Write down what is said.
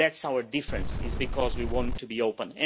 one. That is our difference, because we want to be